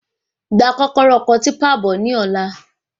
Gba kọ́kọ́rọ́ ọkọ̀ típà náà bọ ní ọ̀la